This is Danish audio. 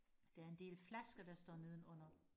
der er en del flasker der står nedenunder